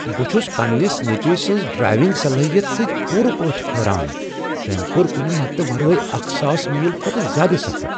بہٕ چھس پنٛنس نیٚچوۍ سٕنٛز ڈرایونٛگ صلٲحیت سۭتۍ پورٕ پٲٹھۍ حیران تٔمۍ کوٚر کنہ مددٕ ورٲے اکھ ساس میل کھوتہٕ زیادٕ سفر